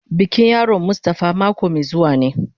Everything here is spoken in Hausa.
Bikin sunan yaron mustafa mako mai zuwa ne.